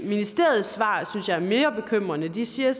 ministeriets svar synes jeg er mere bekymrende de siger